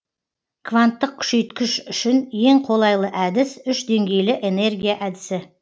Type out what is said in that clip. кванттық күшейткіш үшін ең қолайлы әдіс үш деңгейлі энергия әдісі